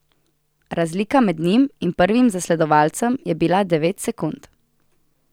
Razlika med njim in prvim zasledovalcem je bila devet sekund.